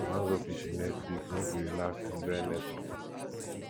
we wan go fishing next week make we relax enjoy nature